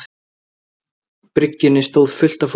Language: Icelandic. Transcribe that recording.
bryggjunni stóð fullt af fólki.